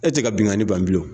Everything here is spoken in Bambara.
E tɛ ka bingani ban bilen.